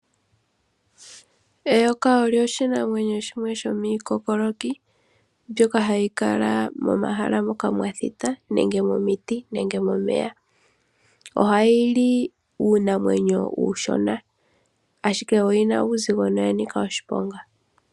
Eyoka olyo oshinamwenyo shimwe shomiikookoloki, mbyoka hayi kala momahala moka mwa thita, nenge momiti, nenge momeya. Ohali li uunamwenyo uushona, ashike olina uuzigo nolya nika oshiponga.